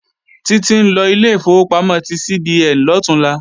Títí ńlọ ilé ìfowópamọ́ ti CBN lọ̀túnla